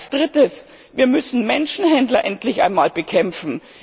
Als Drittes Wir müssen Menschenhändler endlich einmal bekämpfen!